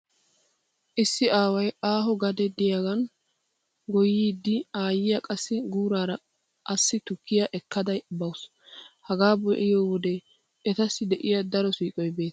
Issi aaway aaho gadee diyagaa goyyiyode aayyiya qassi guuraara assi tukkiya ekkada bawusu. Hagaa be'iyo wode etassi de'iya daro siiqoy beettes.